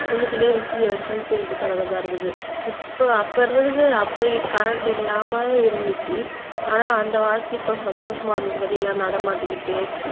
உள்ளுக்குள்ளேயே விசிறிய வச்சு விசிறிட்டு கடக்கறதா இருக்குது இப்ப அப்ப இருந்ததுக்கு அப்பயே கரண்ட் இல்லாம இருந்துச்சு ஆனா அந்த வாழ்க்கைக்கும் சந்தோஷமா இருந்தது வெளியில நடமாட்டிக்கிட்டு